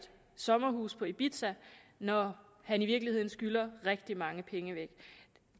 sommerhus på ibiza når han i virkeligheden skylder rigtig mange penge væk